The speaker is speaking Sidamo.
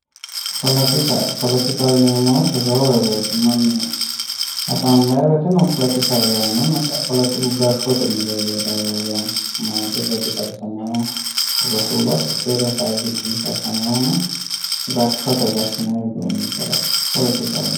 Poletikka, poletikkaho yineemmo woyte roore woyte mannu hasaambanni woyteno poletikkaho yaanonna ,poletikku gashshote mereero heeraho yaate ,mootete ledo karsamaho babbaxeyore hasaawu giddono karsamanohonna gashshote gashinnanni widooni kalaqamanoho.